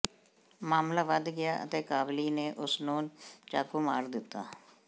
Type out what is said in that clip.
ਮਾਮਲਾ ਵੱਧ ਗਿਆ ਅਤੇ ਕਾਬਲੀ ਨੇ ਉਸ ਨੂੰ ਚਾਕੂ ਮਾਰ ਦਿੱਤਾ